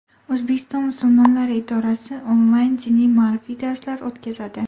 O‘zbekiston musulmonlari idorasi onlayn diniy-ma’rifiy darslar o‘tkazadi.